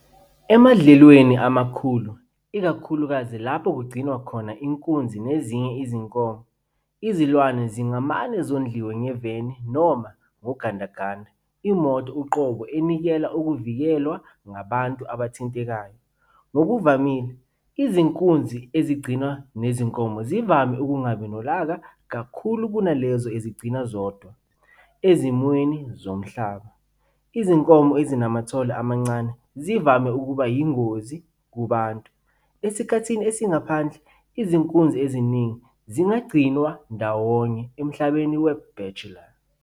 Emadlelweni amakhulu, ikakhulukazi lapho kugcinwa khona inkunzi nezinye izinkomo, izilwane zingamane zondliwe ngeveni noma ngogandaganda, imoto uqobo enikela ukuvikelwa kwabantu abathintekayo. Ngokuvamile, izinkunzi ezigcinwa nezinkomo zivame ukungabi nolaka kakhulu kunalezo ezigcinwa zodwa. Ezimweni zomhlambi, izinkomo ezinamathole amancane zivame ukuba yingozi kubantu. Esikhathini esingaphandle, izinkunzi eziningi zingagcinwa ndawonye "emhlambini we-bachelor".